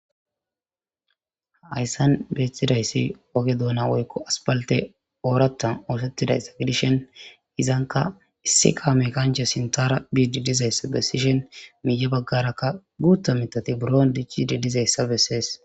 Haayssan beettidayssi oge doona woykko asbalte ooratan oosettidayssa gidishen izanka issi kaame kancha sintaara biidi dizayssa besishen miiya baggarakka guutta mithati buro dichidi dizayssa bessees.